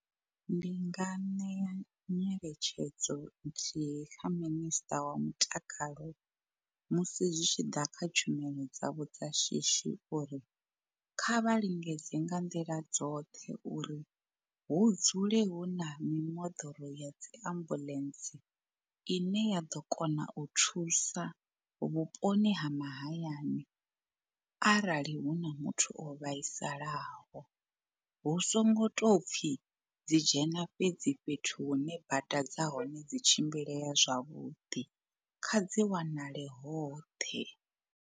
Ndi nga ṋea nyeletshedzo nthihi kha minister wa mutakalo musi zwi tshi ḓa kha tshumelo dzavho dza shishi uri kha vha lingedze nga nḓila dzoṱhe uri hu dzule hu na mimoḓoro ya dzi ambuḽentse ine ya ḓo kona u thusa vhuponi ha mahayani. Arali hu na muthu o vhaisalaho hu songo tou pfi dzi dzhena fhedzi fhethu hune bada dza hone dzi tshimbileya zwavhuḓi kha dzi wanale hoṱhe.